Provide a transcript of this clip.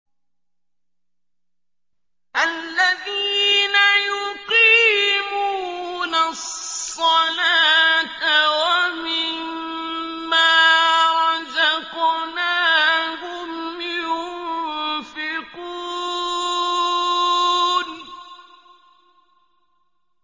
الَّذِينَ يُقِيمُونَ الصَّلَاةَ وَمِمَّا رَزَقْنَاهُمْ يُنفِقُونَ